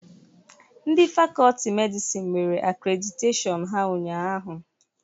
Ndị Fakọlti medịsinu mere akrediteshiọnu ha ụnyahụ.